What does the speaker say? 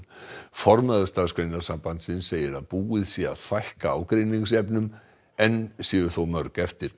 formaður Starfsgreinasambandsins segir að búið sé að fækka ágreiningsefnum enn séu þó mörg eftir